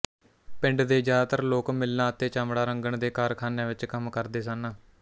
ਪਿੰਡ ਦੇ ਜ਼ਿਆਦਾਤਰ ਲੋਕ ਮਿੱਲਾਂ ਅਤੇ ਚਮੜਾ ਰੰਗਣ ਦੇ ਕਾਰਖ਼ਾਨਿਆਂ ਵਿੱਚ ਕੰਮ ਕਰਦੇ ਸਨ